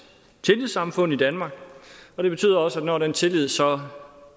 tillidssamfund i danmark og det betyder også at når den tillid så